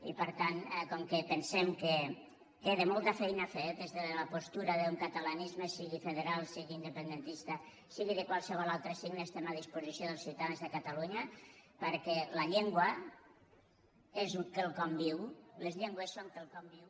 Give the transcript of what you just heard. i per tant com que pensem que queda molta feina a fer des de la postura d’un catalanisme sigui federal sigui independentista sigui de qualsevol altre signe estem a disposició dels ciutadans de catalunya perquè la llengua és quelcom viu les llengües són quelcom viu